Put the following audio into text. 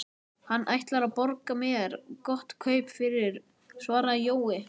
Hann ætlar að borga mér gott kaup fyrir, svaraði Jói.